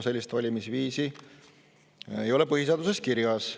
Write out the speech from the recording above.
Sellist valimisviisi ei ole põhiseaduses kirjas.